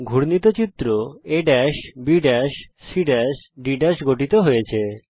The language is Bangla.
ঘুর্ণিত চিত্র A BC Dগঠিত হয়েছে